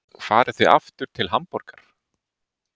Farið þið aftur til Hamborgar?